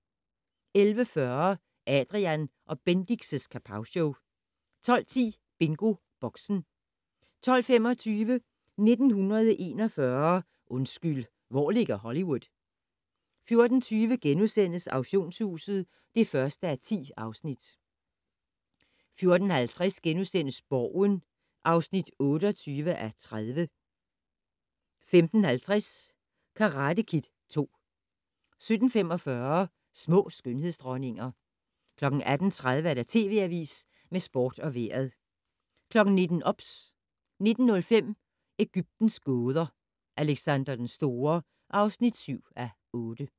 11:40: Adrian & Bendix' Kapowshow 12:10: BingoBoxen 12:25: 1941 - undskyld, hvor ligger Hollywood? 14:20: Auktionshuset (1:10)* 14:50: Borgen (28:30)* 15:50: Karate Kid II 17:45: Små skønhedsdronninger 18:30: TV Avisen med Sport og Vejret 19:00: OBS 19:05: Egyptens gåder - Alexander den Store (7:8)